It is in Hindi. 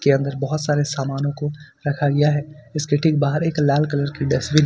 के अंदर बहुत सारे सामानों को रखा गया है इसके ठीक बाहर एक लाल कलर की डस्टबिन है।